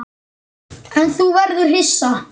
En nú verður þú hissa!